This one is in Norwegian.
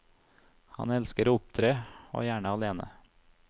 Han elsker å opptre, og gjerne alene.